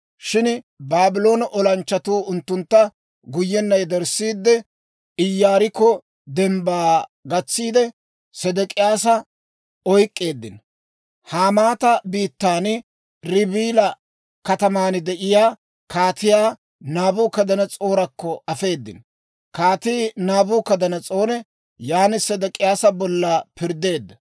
Shin Baabloone olanchchatuu unttuntta guyyenna yederssiide, Iyaarikko dembbaa gatsiidde, Sedek'iyaasa oyk'k'eeddino. Hamaata biittan, Ribila kataman de'iyaa Kaatiyaa Naabukadanas'oorakko afeedino. Kaatii Naabukadanas'oori yaan Sedek'iyaasa bolla pirddeedda.